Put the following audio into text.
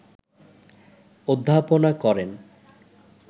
অধ্যাপনা করেন